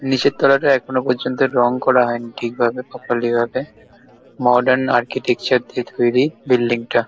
নিচের তলাটা এখনো পর্যন্ত রং করা হয়নি ঠিকভাবে প্রপারলি ভাবে। মডার্ন আর্কিটেকচার দিয়ে তৈরি বিল্ডিং টা।